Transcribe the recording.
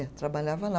É, trabalhava lá.